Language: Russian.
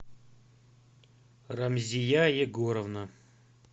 рамзия егоровна